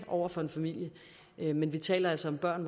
over for en familie men vi taler altså om børn